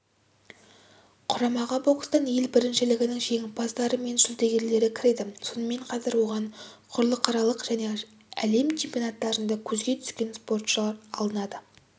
құрамаға бокстан ел біріншілігінің жеңімпаздары мен жүлдегерлері кіреді сонымен қатар оған құрлықаралық және әлем чемпионаттарында көзге түскен спортшылар алынады